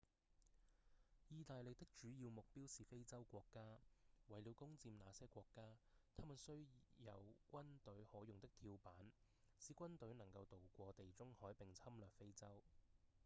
義大利的主要目標是非洲國家為了攻佔那些國家他們需有軍隊可用的跳板使軍隊能夠渡過地中海並侵略非洲